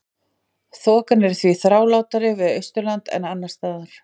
Þokan er því þrálátari við Austurland en annars staðar.